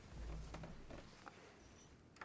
der